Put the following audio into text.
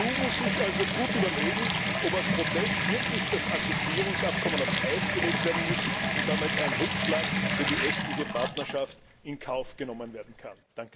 Die EU muss sich also gut überlegen, ob als Protest wirklich das Assoziierungsabkommen auf Eis gelegt werden muss, und damit ein Rückschlag für die östliche Partnerschaft in Kauf genommen werden kann.